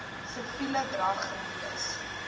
siviele drag gewees